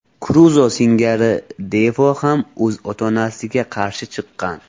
Kruzo singari Defo ham o‘z ota-onasiga qarshi chiqqan.